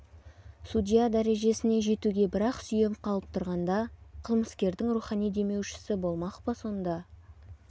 судья дәрежесіне жетуге бір-ақ сүйем қалып тұрғанда қылмыскердің рухани демеушісі болмақ па сонда